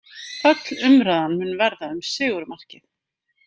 Öll umræðan mun verða um sigurmarkið